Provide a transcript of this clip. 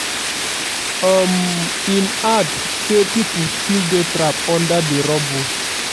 um im add say pipo still dey trapped under di rubbles